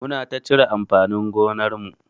Muna ta cire amfanin gonar mu.